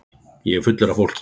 Ég er fullur af fólki.